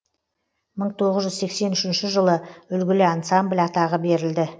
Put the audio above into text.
мың тоғыз жүз сексен үшінші жылы үлгілі ансамбль атағы берілді